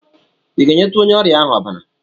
I ga-enyetụ onye ọrịa ahụ ọbara?